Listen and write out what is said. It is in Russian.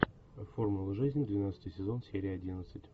формула жизни двенадцатый сезон серия одиннадцать